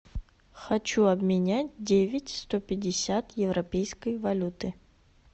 хочу обменять девять сто пятьдесят европейской валюты